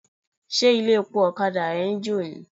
Ṣé ilé-epo ọ̀kadà rẹ ń jò ni?